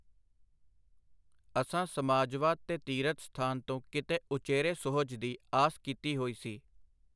ਅਸਾਂ ਸਮਾਜਵਾਦ ਤੇ ਤੀਰਥ-ਸਥਾਨ ਤੋਂ ਕਿਤੇ ਉਚੇਰੇ ਸੁਹਜ ਦੀ ਆਸ ਕੀਤੀ ਹੋਈ ਸੀ.